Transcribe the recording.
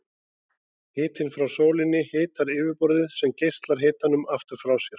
Hitinn frá sólinni hitar yfirborðið sem geislar hitanum aftur frá sér.